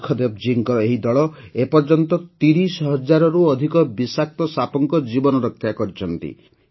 ସୁଖଦେବ ଜୀଙ୍କ ଏହି ଦଳ ଏ ପର୍ଯ୍ୟନ୍ତ ୩୦ ହଜାରରୁ ଅଧିକ ବିଷାକ୍ତ ସାପଙ୍କ ଜୀବନରକ୍ଷା କରିଛନ୍ତି